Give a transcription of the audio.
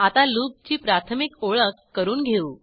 आता लूपची प्राथमिक ओळख करून घेऊ